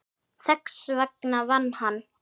Þess vegna vann hann.